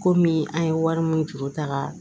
Komi an ye wari min juru ta ka